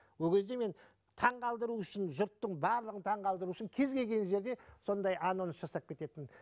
ол кезде мен таңғалдыру үшін жұрттың барлығын таңғалдыру үшін кез келген жерде сондай анонс жасап кететінмін